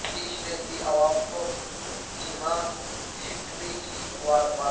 نتیش نے دی عوام کو جنماشٹمی کی مبارک باد